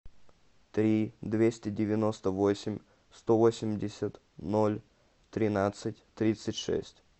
три двести девяносто восемь сто восемьдесят ноль тринадцать тридцать шесть